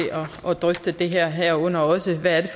at drøfte det her herunder også hvad det